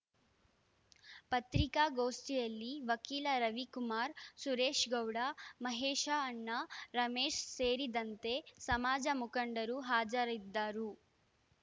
ಪತ್ರಿಕಾ ಗೋಷ್ಟಿಯಲ್ಲಿ ವಕೀಲ ರವಿಕುಮಾರ್ ಸುರೇಶ್ ಗೌಡ ಮಹೇಶಅಣ್ಣ ರಮೇಶ್ ಸೇರಿದಂತೆ ಸಮಾಜ ಮುಖಂಡರು ಹಾಜರಿದ್ದರು